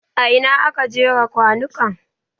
A ina aka jera kwanukan?